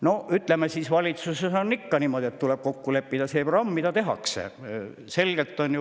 No ütleme siis, valitsuses on ikka niimoodi, et tuleb programmis kokku leppida.